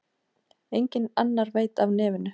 Enginn annar veit af nefinu.